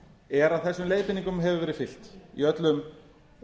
er að þessum leiðbeiningum hefur verið fylgt í öllum